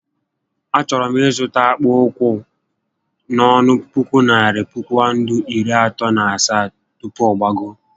A chọrọ m ịzụta akpụkpọ ụkwụ a n'ọnụ puku narị Pawụndụ iri atọ na asaá tupu ọ gbagoo